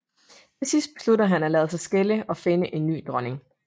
Til sidst besluttede han er lade sig skille og finde en ny dronning